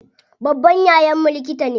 Babban yayan mu likita ne.